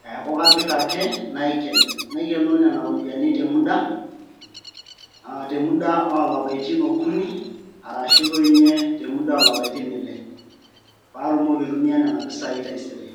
neeku kapik ake naiken naikenoo nena ropiyiani te muda oo lapaitin okuni arashu toi nye te muda oo lapaitin ile patumoki aitumia nena ropiyiani taisere.